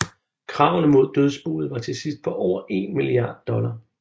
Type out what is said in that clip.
Kravene mod dødsboet var til sidst på over en milliard dollar